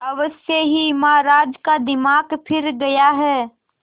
अवश्य ही महाराज का दिमाग फिर गया है